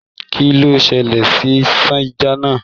Kin ló ṣẹlẹ sí saja náà?